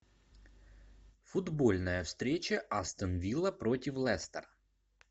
футбольная встреча астон вилла против лестер